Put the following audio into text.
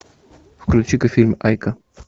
включи ка фильм айка